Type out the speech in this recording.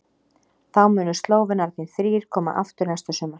Þá munu Slóvenarnir þrír koma aftur næsta sumar.